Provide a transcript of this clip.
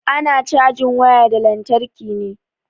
Ana cajin waya da lantarki ne